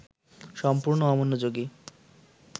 সম্পূর্ণ অমনোযোগী